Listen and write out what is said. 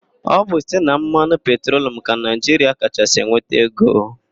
Ọ bụ site na mmanụ petrolum ka Naịjiria kachasị enweta ego.